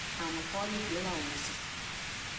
анатолий белоусов